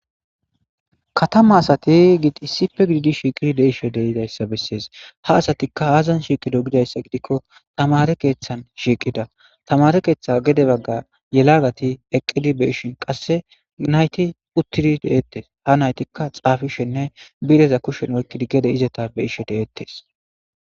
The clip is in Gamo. katama asati giidi issipe gididi shiiqidi deishe deidayssa bessees ha asatikka aazan shiiqido gidayssa gidikko tamare keeththan shiiqida tamare keeththa gede bagga yelaagati eqqidi be ishin qasse nayti uttidi deettes ha naytikka xaafishenne bireza kushen oykkidi gede izeta be ishshe de7ettes